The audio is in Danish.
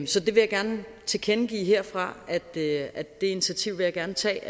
så jeg vil gerne tilkendegive herfra at det initiativ vil jeg gerne tage